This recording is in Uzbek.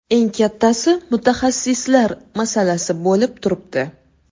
Eng kattasi mutaxassislar masalasi bo‘lib turibdi.